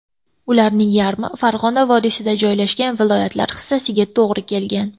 Ularning yarmi Farg‘ona vodiysida joylashgan viloyatlar hissasiga to‘g‘ri kelgan.